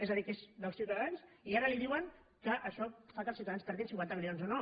és a dir que és dels ciutadans i ara li diuen que això fa que els ciutadans perdin cinquanta milions o no